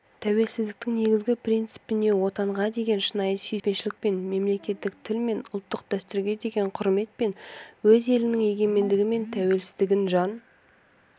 тәуелсіздіктің негізгі принципіне отанға деген шынайы сүйіспеншілікпен мемлекеттік тіл мен ұлттық дәстүрге деген құрметпен өз елінің егемендігі мен тәуелсіздігін жан